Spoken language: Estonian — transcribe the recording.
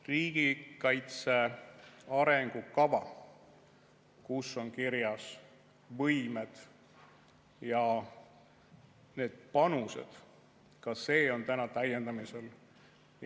Riigikaitse arengukava, kus on kirjas võimed ja need panused – ka see on täna täiendamisel.